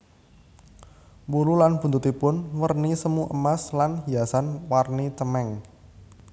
Wulu lan buntutipun werni semu emas lan hiasan warni cemeng